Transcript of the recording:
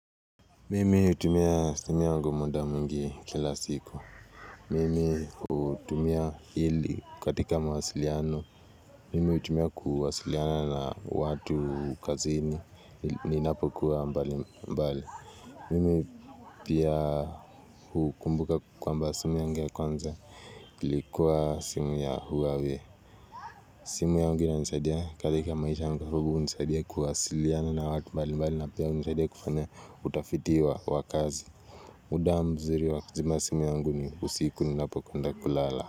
Mimi hutumia simu yangu muda mwingi kila siku. Mimi hutumia ili katika mawasiliano. Mimi hutumia kuwasiliana na watu kaziini. Ninapokuwa mbali mbali. Mimi pia hukumbuka kwamba simu yangu ya kwanza. Ilikuwa simu ya huawei simu yangu inanisaidia katika maisha yangu hunisaidia kuwasiliana na watu mbali mbali na pia uhunisaidia kufanya utafiti wa kazi. Muda mzuri wa kuzima simu yangu ni usiku ninapoenda kulala.